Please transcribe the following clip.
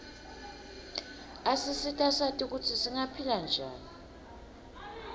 asisita sati kutsi singaphila njani